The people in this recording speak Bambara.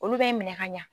Olu bɛ minɛ ka ɲa